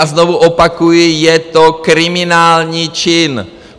A znovu opakuji, je to kriminální čin!